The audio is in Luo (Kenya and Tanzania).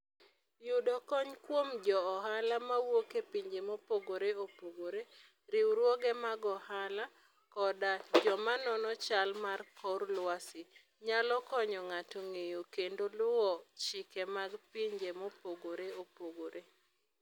Yudo kony kuom jo ohala mawuok e pinje mopogore opogore, riwruoge mag ohala, koda joma nono chal mar kor lwasi, nyalo konyo ng'ato ng'eyo kendo luwo chike mag pinje mopogore opogore.